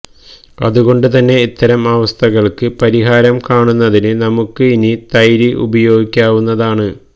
അതുകൊണ്ട് തന്നെ ഇത്തരം അവസ്ഥകള്ക്ക് പരിഹാരം കാണുന്നതിന് നമുക്ക് ഇനി തൈര് ഉപയോഗിക്കാവുന്നതാണ്